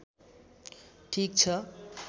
ठीक छ